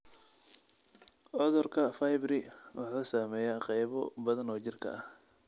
Cudurka Fabry wuxuu saameeyaa qaybo badan oo jirka ah.